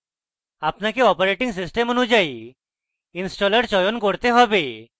আপনাকে operating system অনুযায়ী installer চয়ন করতে have